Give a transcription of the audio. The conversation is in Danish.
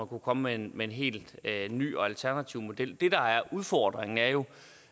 kunne komme med en helt ny og alternativ model det der er udfordringen er jo